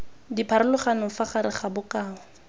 dipharologano fa gare ga bokao